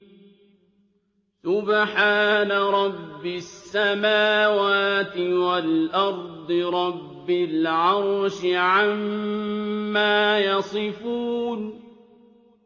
سُبْحَانَ رَبِّ السَّمَاوَاتِ وَالْأَرْضِ رَبِّ الْعَرْشِ عَمَّا يَصِفُونَ